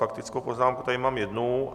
Faktickou poznámku tady mám jednu.